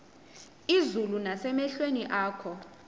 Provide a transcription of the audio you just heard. izulu nasemehlweni akho